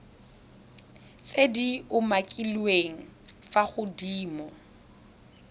tse di umakiliweng fa godimo